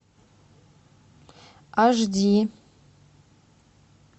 аш ди